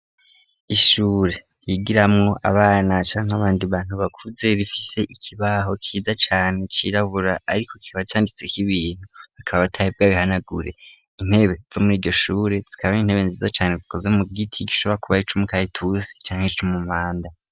Ishure yigiramwo abanacankeabandi bantu bakuze bifise ikibaho kiza cane cirabura, ariko kiba canditse ko'ibintu hakaba abatahibwa bihanagure intebe zo muri gishure zikabano intebe nziza cane zikoze mu gwoiti gishobora akubaye ic'umukariturusi canke c'umumanda.